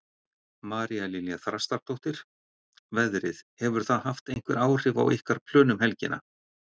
María Lilja Þrastardóttir: Veðrið, hefur það haft einhver áhrif á ykkar plön um helgina?